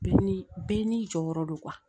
Bɛɛ ni bɛɛ n'i jɔyɔrɔ don